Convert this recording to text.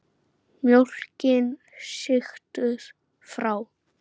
Mjólkin sigtuð frá.